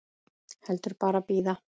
Heldur bara bíða.